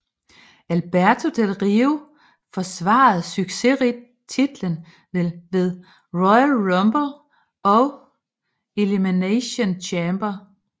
Alberto Del Rio forsvarede succesrigt titlen ved Royal Rumble og Elimination Chamber